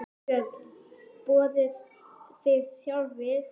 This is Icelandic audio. Björn: Borðið þið sjálf svið?